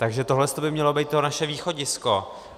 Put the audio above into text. Takže toto by mělo být to naše východisko.